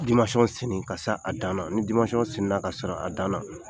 senni ka a se a dan na ni senna ka se a dan na